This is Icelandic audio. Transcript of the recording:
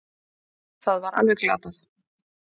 Það var alveg glatað